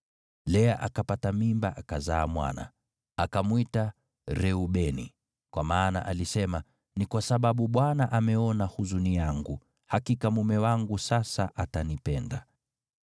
Lea akapata mimba akazaa mwana. Akamwita Reubeni, kwa maana alisema, “Ni kwa sababu Bwana ameona huzuni yangu. Hakika mume wangu sasa atanipenda.”